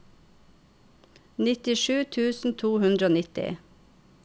nittisju tusen to hundre og nitti